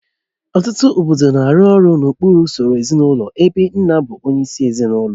Ọtụtụ obodo na-arụ ọrụ n'okpuru usoro ezinụlọ ebe nna bụ onyeisi ezinụlọ